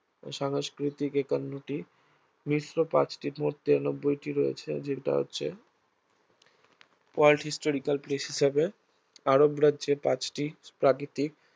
সংস্কৃতিক একান্নটি, মিশ্র পাঁচটি মোট তিরান্নবইটি রয়েছে যেটা হচ্ছে world historical places হিসাবে আরব রাজ্যে পাঁচটি প্রাকৃতিক